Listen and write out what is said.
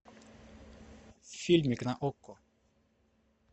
фильмик на окко